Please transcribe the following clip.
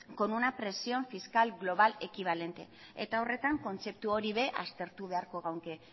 con una presión fiscal global equivalente eta horretan kontzeptu hori ere aztertu beharko genuke